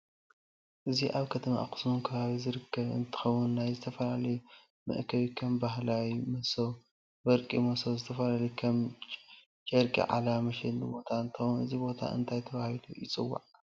እዙይ አብ ከተማ አክሱም ከባብ ዝርከብ እንትከውን ናይ ዝተፋላላዪ መአከብ ከም ባህላዊ መሰው፣ ወርቂ መሰው ዝተፈላለዪ ከም ጭርቂ ዓለባ መሸጥ ቦታ እንትከውን እቲ ቦታ እንታይ ተባሃለ ይፂዋዓ?